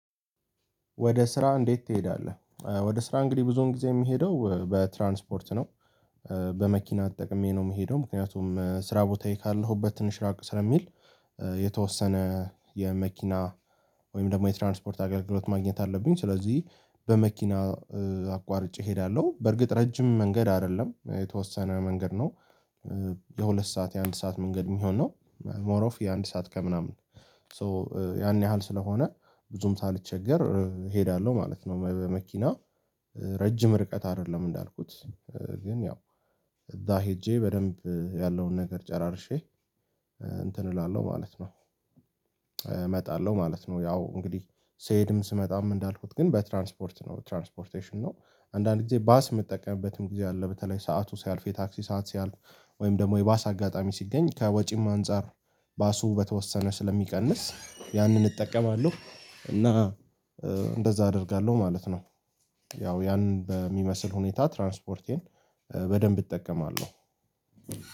ወደ ስራ እንዴት ትሄዳለህ? ወደ ስራ እንግዲህ ብዙን ጊዜ የምሄደው በትራንስፖርት ነው። በመኪና ተጠቅሜ ነው የምሄደው ምክንያቱም ስራ ቦታዬ ካለሁበት ትንሽ ራቅ ስለሚል የተወሰነ የመኪና ወይም ደግሞ የትራንስፖርት አገልግሎት ማግኘት አለብኝ። ስለዚህ በመኪና አቋርጬ እሄዳለሁ በርግጥ ረጅም መንገድ አይደለም የተወሰነ መንገድ ነው። የሁለት ሰዓት የአንድ ሰዓት መንገድ የሚሆን ነው ሞር ኦፍ የአንድ ሰዓት ከምናምን ሶ ያን ያህል ስለሆነ ብዙም ሳልቸገር እሄዳለሁ ማለት ነው። በመኪና ረጅም ርቀት አይደለም እንዳልኩት ግን ያው እዛ ሄጄ በደንብ ያለውን ነገር ጨራርሼ እንትን እላለሁ ማለት ነው። እመጣለሁ ማለት ነው ያው እንግዲህ ስሄድም ስመጣም እንዳልኩት ግን በትራንስፖርት ነው ትራንስፖርቴሽን ነው። አንዳንድ ጊዜ ባስ የምጠቀምበትም ጊዜ አለ በተለይ ሰዓቱ ሲያልፍ የታክሲ ሰዓት ሲያልፍ ወይም ደግሞ የባስ አጋጣሚ ሲገኝ ከወጪም አንፃር ባሱ በተወሰነ ስለሚቀንስ ያንን እጠቀማለሁ እና እንደዛ አደርጋለሁ ማለት ነው። ያው ያንን በሚመስል ሁኔታ ትራንስፖርቴን በደንብ እጠቀማለሁ።